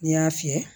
N'i y'a fiyɛ